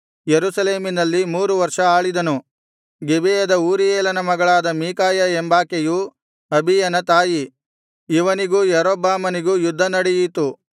ಯೆರೂಸಲೇಮಿನಲ್ಲಿ ಮೂರು ವರ್ಷ ಆಳಿದನು ಗಿಬೆಯದ ಊರೀಯೇಲನ ಮಗಳಾದ ಮೀಕಾಯ ಎಂಬಾಕೆಯು ಅಬೀಯನ ತಾಯಿ ಇವನಿಗೂ ಯಾರೊಬ್ಬಾಮನಿಗೂ ಯುದ್ಧ ನಡೆಯಿತು